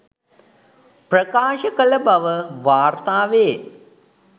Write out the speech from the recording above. ප්‍රකාශ කළ බව වාර්තාවේ